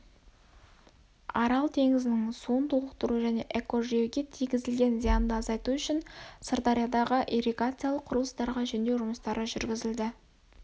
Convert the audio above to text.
арал теңізінің суын толықтыру және экожүйеге тигізілген зиянды азайту үшін сырдариядағы ирригациялық құрылыстарға жөндеу жұмыстары жүргізілді